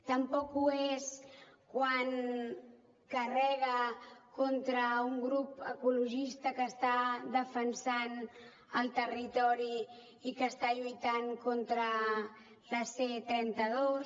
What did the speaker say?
tampoc ho és quan carrega contra un grup ecologista que està defensant el territori i que està lluitant contra la c trenta dos